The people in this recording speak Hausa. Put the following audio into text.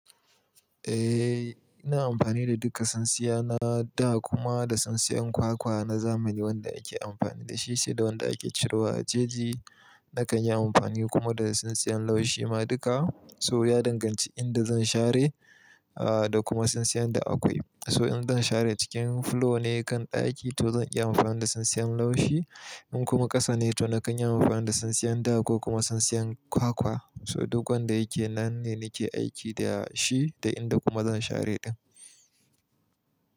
Eh, ina amfani da duka tsintsiyana, da kuma da tsintsiyan kwakwa na zamani wanda ake amfani da shi sai da wanda ake cire wa jeji. Nakan yi amfani kuma da tsintsiyan laushi ma duka. So ya danganci inda zan share, ah, da kuma tsintsiyan da akwai. So in zan share cikin fulo ne kan ɗaki to zan iya amfani da tsintsiyan laushi. In kuma ƙasa ne to nakan yi amfani da tsintsiyan da ko kuma tsintsiyan kwakwa. So duk wanda yake nan ne nake aiki da shi da inda kuma zan share ɗin.